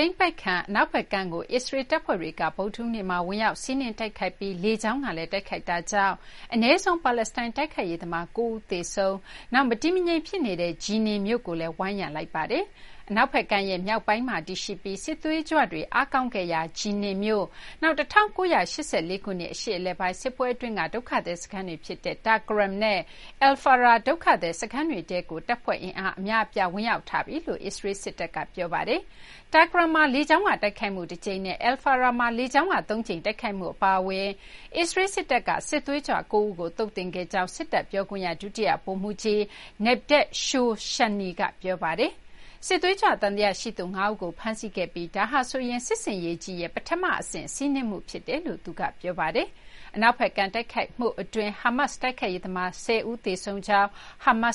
ိမ်းပိုက်ခံအနောက်ဘက်ကမ်းကို အစ္စရေးလ်တပ်ဖွဲ့တွေက ဗုဒ္ဓဟူးနေ့မှာ ဝင်ရောက် စီးနင်းတိုက်ခိုက်ပြီး လေကြောင်းကလည်း တိုက်ခိုက်တာကြောင့် အနည်းဆုံး ပါလက်စတိုင်း တိုက်ခိုက်ရေးသမား ၉ ဦး သေဆုံးပြီး မတည်မငြိမ်ဖြစ်နေတဲ့ Jenin မြို့ကိုလည်း ဝိုင်းရံထားပါတယ်။ အနောက်ဘက်ကမ်းရဲ့ မြောက်ပိုင်းမှာတည်ရှိပြီး စစ်သွေးကြွတွေအားကောင်းခဲ့ရာ Jenin မြို့၊ နောက် ၁၉၈၄ ခုနှစ် အရှေ့အလယ်ပိုင်း စစ်ပွဲ အတွင်းက ဒုက္ခသည်စခန်းတွေဖြစ်တဲ့ Tulkarem နဲ့ Al-Faraa ဒုက္ခသည် စခန်းတွေထဲကို တပ်ဖွဲ့အင်အား အများအပြား ဝင်ရောက်ထားပြီလို့ အစ္စရေးလ် စစ်တပ်က ပြောပါတယ်။ Tulkaem မှာ လေကြောင်းက တိုက်ခိုက်မှုတကြိမ်နဲ့ Al –Faraa မှာ လေကြောင်းက သုံးကြိမ် တိုက်ခိုက်မှု အပါအဝင် အစ္စရေးလ် စစ်တပ်က စစ်သွေးကြွ ၉ ဦးကို သုတ်သင်ခဲ့ကြောင်း စစ်တပ်ပြောခွင့်ရ ဒုတိယ ဗိုလ်မှူးကြီး Nadav Shoshani က ပြောပါတယ်။ စစ်သွေးကြွ သံသယ ရှိသူ ၅ ဦးကို ဖမ်းဆီးခဲ့ပြီး ဒါဟာဆိုရင် စစ်ဆင်ရေးကြီးရဲ့ ပထမအဆင့် စီးနင်းမှုဖြစ်တယ်လို့ သူက ပြောပါတယ်။ အနောက်ဘက်ကမ်း တိုက်ခိုက်မှုအတွင်း ဟာမတ် တိုက်ခိုက်ရေးသမား ၁၀ ဦး သေဆုံးကြောင်း ဟာမတ်